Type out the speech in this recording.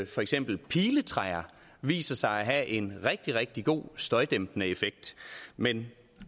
for eksempel piletræer viser sig at have en rigtig rigtig god støjdæmpende effekt men